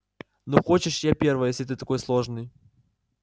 ну хочешь я первая если ты такой сложный